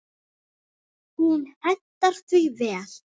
Hún hentar því vel.